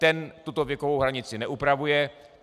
Ten tuto věkovou hranici neupravuje.